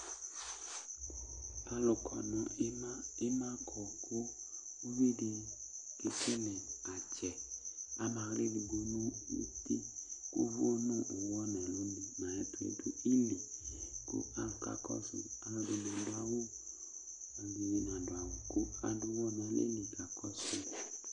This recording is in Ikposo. Ima kɔ kʋ uvi di kekele atsɛ Ama aɣla edigbo nʋ uti kʋ ʋvʋ nʋ ʋwɔ nʋ uli nʋ ayʋ ɛtʋ nidu ili Kʋ alu ka kɔsʋ yi Alu ɛdɩnɩ adʋ awʋ, ɛdɩnɩ na dʋawʋ, kʋ adʋ ʋwɔ nʋ aleli ka kɔsʋ yɩ